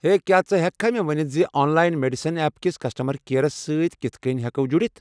ہے، کیٚا ژٕ ہیٚککھا مےٚ ؤنتھ ز آن لاین میڈیسن ایپ کس کسٹمر کیئرس سۭتۍ کتھٕ کٔنۍ ہٮ۪کو جُڈِتھ ؟